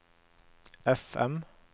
FM